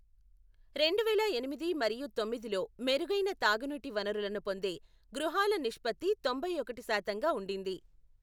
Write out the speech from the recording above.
రెండువేల ఎనిమిది మరియు తొమ్మిదిలో మెరుగైన తాగునీటి వనరులను పొందే గృహాల నిష్పత్తి తొంభై ఒకటి శాతంగా ఉండింది.